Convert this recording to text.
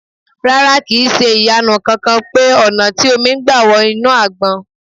Rárá, kì ń ṣe ìyanu kankan pé ọ̀nà tí omi gbà wọ inú Àgbọn.